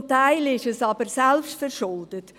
Zum Teil ist es aber selbstverschuldet.